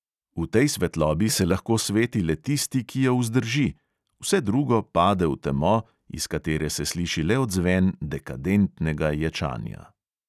V tej svetlobi se lahko sveti le tisti, ki jo vzdrži – vse drugo pade v temo, iz katere se sliši le odzven "dekadentnega" ječanja.